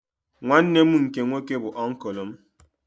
Nwanne m nke nwoke bụ oncul m